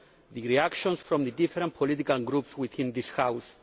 the reactions from the different political groups within this House.